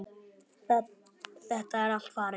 Þetta er allt farið.